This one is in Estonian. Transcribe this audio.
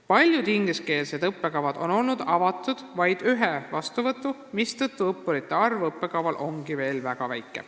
Paljudele ingliskeelsetele õppekavadele on vaid üks kord õppureid vastu võetud, mistõttu on nende arv õppekava kohta veel väga väike.